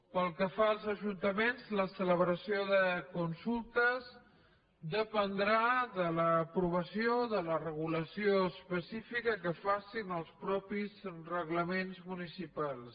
pel que fa als ajuntaments la celebració de consultes dependrà de l’aprovació de la regulació específica que facin els mateixos reglaments municipals